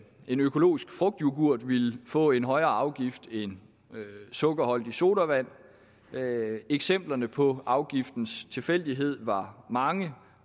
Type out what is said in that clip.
en økologisk frugtyoghurt ville få en højere afgift end sukkerholdige sodavand eksemplerne på afgiftens tilfældighed var mange